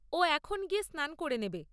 ও এখন গিয়ে স্নান করে নেবে।